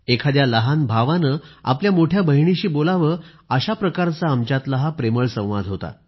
एखाद्या लहान भावाने आपल्या मोठ्या बहिणीशी बोलावे अशा प्रकारचा आमच्यातला हा प्रेमळ संवाद होता